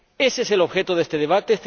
Ese es el objeto de este debate.